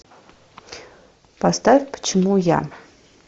поставь почему я